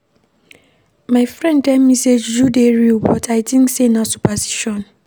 My friend tell me sey juju dey real but I tink sey na superstition.